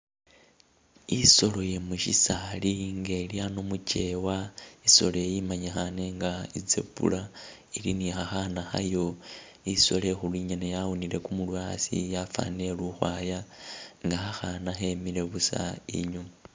Isolo yemushisali ngelyano muchewa isoloyi imanyikhane nga i'zebra ili nikhakhana khayo isolo ikhulu ingene yawunile kumurwe asi yafanile ilikhukhwaya nga khakhana khemile buusa inyuma